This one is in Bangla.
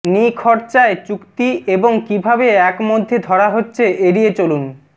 নিখরচায় চুক্তি এবং কিভাবে এক মধ্যে ধরা হচ্ছে এড়িয়ে চলুন